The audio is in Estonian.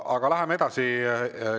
Aga läheme edasi.